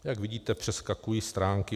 Jak vidíte, přeskakuji stránky.